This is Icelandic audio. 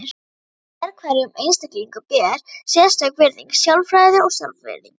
Sérhverjum einstaklingi ber sérstök virðing, sjálfræði og sjálfsvirðing.